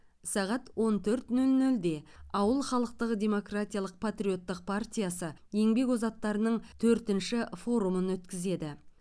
сағат он төрт нөл нөлде ауыл халықтық демократиялық патриоттық партиясы еңбек озаттарының төртінші форумын өткізеді